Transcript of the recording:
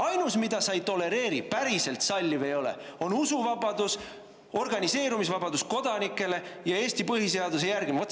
Ainus, mida sa ei tolereeri, päriselt ei salli, on usuvabadus, kodanike organiseerumisvabadus ja Eesti põhiseaduse järgimine.